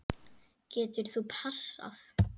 Getur þú passað?